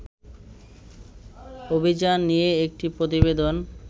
অভিযান নিয়ে একটি প্রতিবেদন